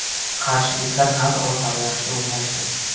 Qarshiliklar qanot orqali yaxshi o‘ynashdi.